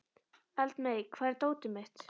Eldmey, hvar er dótið mitt?